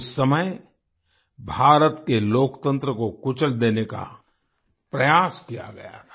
उस समय भारत के लोकतंत्र को कुचल देने का प्रयास किया गया था